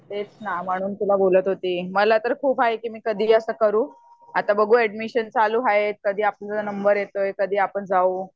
तेच ना म्हणून तुला बोलत होती मला तर खूप आहे की मी कधी असा करू आता बघू एडमिशन चालू हाय कधी आपला नम्बर येतोय कधी आपण जाऊ.